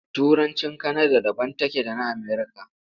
Turancin Kanada daban take da na Amerika.